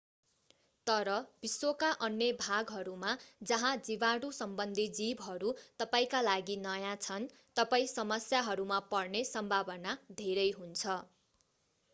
तर विश्वका अन्य भागहरूमा जहाँ जीवाणुसम्बन्धी जीवहरू तपाईंका लागि नयाँ छन् तपाईं समस्याहरूमा पर्ने सम्भावना धेरै हुन्छ